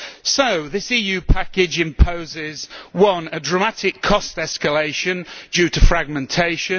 So this EU package imposes one, a dramatic cost escalation due to fragmentation